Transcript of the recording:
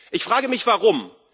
Ich frage mich, warum.